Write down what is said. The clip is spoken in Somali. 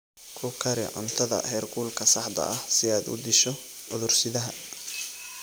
Ku kari cuntada heerkulka saxda ah si aad u disho cudur-sidaha.